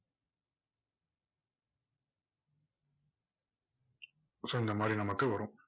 so இந்த மாதிரி நமக்கு வரும்.